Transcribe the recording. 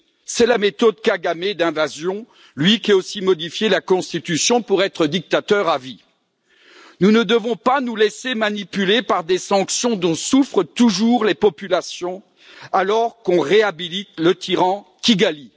C'est la méthode Kagamé d'invasion, lui qui a aussi modifié la constitution pour être dictateur à vie. Nous ne devons pas nous laisser manipuler par des sanctions dont souffrent toujours les populations, alors que l'on réhabilite le tyran de Kigali.